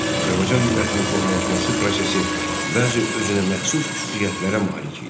Azərbaycan millətinin formalaşması prosesi bəzi özünəməxsus xüsusiyyətlərə malik idi.